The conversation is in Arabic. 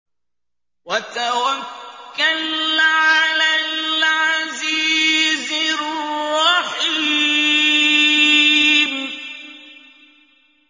وَتَوَكَّلْ عَلَى الْعَزِيزِ الرَّحِيمِ